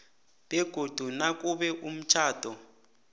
begodu nakube umtjhado